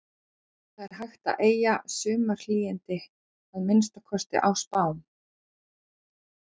Og það er hægt að eygja sumarhlýindi, að minnsta kosti í spám.